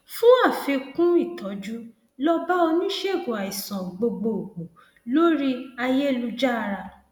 fún àfikún ìtọjú lọ bá oníṣègùn àìsàn gbogbo gbòò lóríayélujára